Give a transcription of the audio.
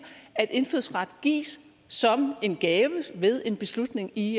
at indfødsret gives som en gave ved en beslutning i